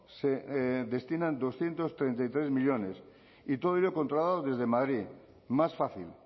se destinan doscientos treinta y tres millónes y todo ello controlado desde madrid más fácil